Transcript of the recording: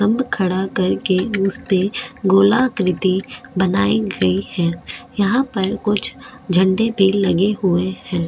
खड़ा करके उस पे गोलाकृति बनाई गई है यहां पर कुछ झंडे भी लगे हुए हैं।